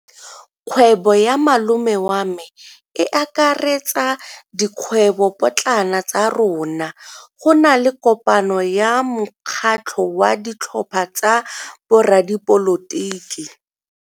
Kgwebo ya malome wa me e akaretsa dikgwebopotlana tsa rona. Go na le kopano ya mokgatlho wa ditlhopha tsa boradipolotiki.